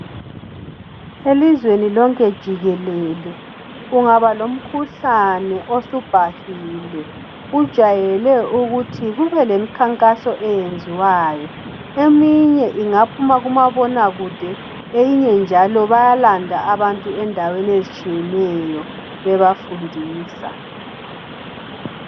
Elizweni lonke jikelele kungaba lomkhulane osubhahile kujayele ukuthi kube lemkhankaso eyenziwayo eminye ingaphuma kumabona kude eyinye njalo bayalanda abantu endaweni ezitshiyeneyo bebafundisa